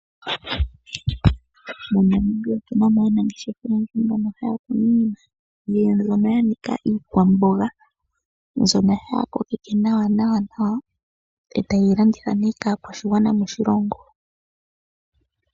MoNamibia otu na mo aanangeshefa oyendji mboka haya kunu iimeno mbyoka ya nika iikwamboga. Ohaye yi kokitha nduno nawa, taye yi landitha nee nawa kaakwashigwana moshilongo.